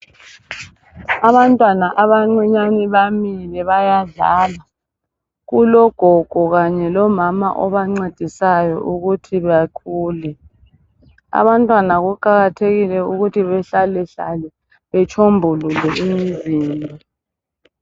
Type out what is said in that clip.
Abantwana abancinyane bamile bayadlala .Kulogogo kanye lomama abancedisayo ukuthi bakhule . Abantwana kuqakathekile ukuthi bahlalehlale betshombulule imizimba.